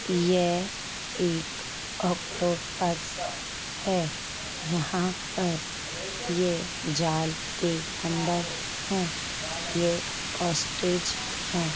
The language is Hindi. ये एक ओक्टोपस् है| यहाँ पर ये जाल के अंदर हैं| ये ओस्टेज हैं।